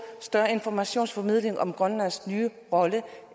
større informationsformidling om grønlands nye rolle